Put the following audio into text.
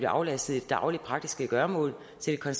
aflastet i de daglige praktiske gøremål så de kan